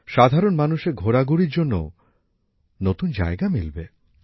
সাধারণ মানুষের ঘোরাঘুরির জন্যও নতুন জায়গা মিলবে